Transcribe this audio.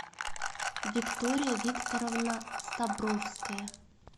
виктория викторовна стабровская